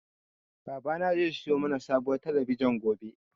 Babana zai siyo mana sabuwar talabijin gobe.